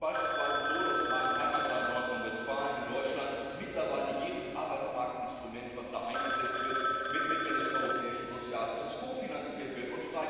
Es ist beispielsweise so, dass in meinem Heimatland Nordrhein Westfalen in Deutschland mittlerweile jedes Arbeitsmarktinstrument, das dort eingesetzt wird, aus Mitteln des Europäischen Sozialfonds kofinanziert wird.